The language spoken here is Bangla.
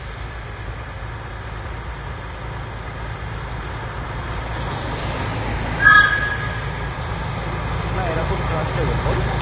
না এরকম trustable বল